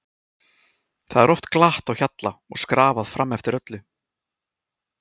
Það er oft glatt á hjalla og skrafað fram eftir öllu.